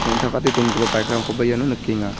neng·takate dongipa bike-rangkoba iano nikenga.